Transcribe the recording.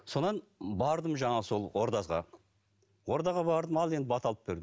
содан бардым жаңағы сол ордазға ордаға бардым ал енді бата алып бердім